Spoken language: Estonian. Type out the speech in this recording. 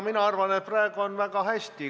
Mina arvan, et praegu on väga hästi.